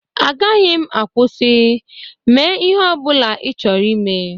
Agaghị m akwụsị. Mee ihe ọ bụla ị chọrọ ime.